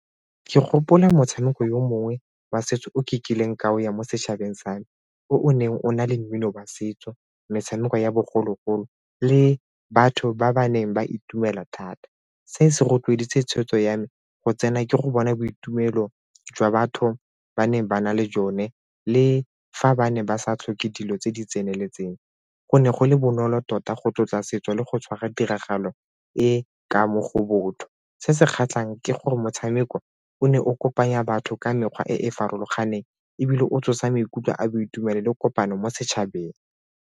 Ke gopola motshameko yo mongwe wa setso o ke kileng ka o ya mo setšhabeng sa me, o o neng o na le mmino wa setso, metshameko ya bogologolo le batho ba ba neng ba itumela thata. Se se rotloediwe tshwetso ya me go tsena ke go bona boitumelo jwa batho ba ne ba na le jone le fa ba ne ba sa tlhoke dilo tse di tseneletseng. Go ne go le bonolo tota go tlotla setso le go tshwara tiragalo e ka mo go botho. Se se kgatlhang ke gore motshameko o ne o kopanya batho ka mekgwa e e farologaneng ebile o tsosa maikutlo a boitumelo le kopano mo setšhabeng.